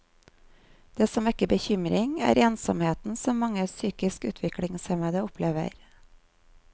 Det som vekker bekymring, er ensomheten som mange psykisk utviklingshemmede opplever.